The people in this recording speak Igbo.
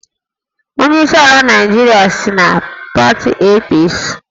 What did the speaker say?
Onyeisi ala Naịjirịa si na pati APC